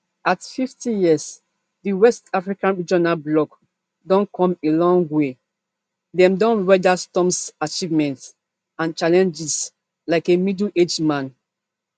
at fifty years di west africa regional bloc don come a long way dem don weather storms achievements and challenges like a middleaged man